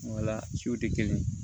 Wala su tɛ kelen